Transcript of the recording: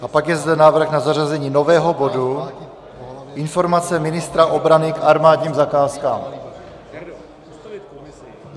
A pak je zde návrh na zařazení nového bodu Informace ministra obrany k armádním zakázkám.